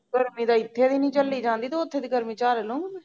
ਗਰਮੀ ਤਾਂ ਇਥੇ ਵੀ ਨੀ ਚੱਲੀ ਜਾਂਦੀ ਤੇ ਓਥੇ ਦੀ ਗਰਮੀ ਚਲ ਲੂੰਗੀ